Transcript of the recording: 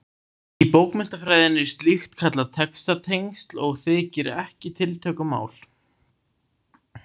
Í bókmenntafræðinni er slíkt kallað textatengsl og þykir ekki tiltökumál.